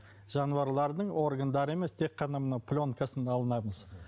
жануарлардың органдары емес тек қана мына пленкасын алынамыз